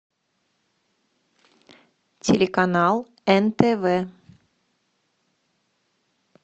телеканал нтв